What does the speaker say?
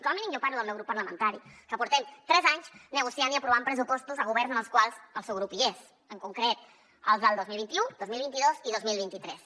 com a mínim jo parlo del meu grup parlamentari que portem tres anys negociant i aprovant pressupostos a governs en els quals el seu grup hi és en concret els del dos mil vint u dos mil vint dos i dos mil vint tres